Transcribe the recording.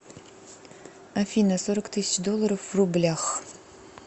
афина сорок тысяч долларов в рублях